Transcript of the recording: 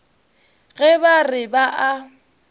ge ba re ba a